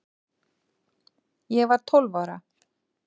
Ég var tólf ára